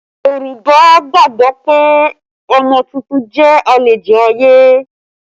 Yorùbá gbàgbọ́ pé ọmọ tuntun jẹ́ àlejò ayé